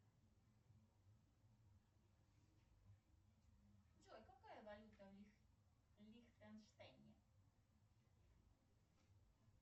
джой какая валюта в лихтенштейне